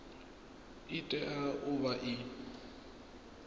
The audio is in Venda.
i tea u vha i